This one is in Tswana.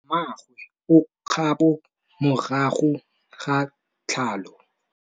Mmagwe o kgapô morago ga tlhalô.